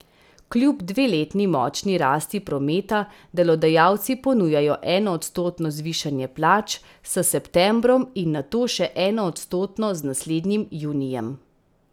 Kljub dveletni močni rasti prometa delodajalci ponujajo enoodstotno zvišanje plač s septembrom in nato še enoodstotno z naslednjim junijem.